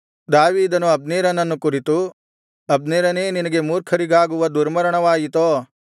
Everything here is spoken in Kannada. ದಾವೀದನು ಅಬ್ನೇರನನ್ನು ಕುರಿತು ಅಬ್ನೇರನೇ ನಿನಗೆ ಮೂರ್ಖರಿಗಾಗುವಂತೆ ದುರ್ಮರಣವಾಯಿತೋ